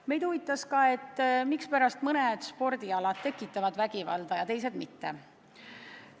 Meid huvitas ka, mispärast mõned spordialad tekitavad vägivalda ja teised mitte.